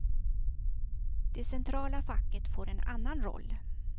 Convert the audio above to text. Det centrala facket får en annan roll.